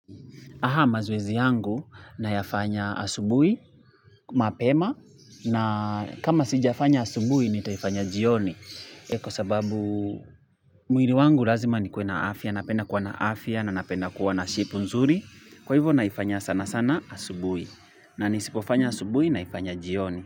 Aha mazoezi yangu na yafanya asubuhi, mapema na kama sijafanya asubuhi ni taifanya jioni. Kwa sababu mwili wangu lazima ni kuena afya, napenda kuwa na afya na napenda kuwa na shepu nzuri. Kwa hivyo naifanya sana sana asubuhi. Na nisipofanya asubuhi na ifanya jioni.